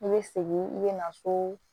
I bɛ segin i bɛ na so